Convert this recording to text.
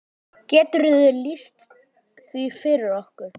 Geturðu lýst því fyrir okkur?